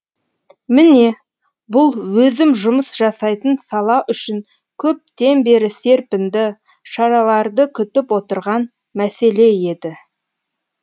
міне бұл өзім жұмыс жасайтын сала үшін көптен бері серпінді шараларды күтіп отырған мәселе еді